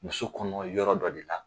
Muso kɔnɔ yɔrɔ dɔ de la.